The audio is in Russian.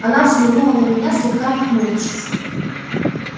она взглянула на меня слегка нахмурившись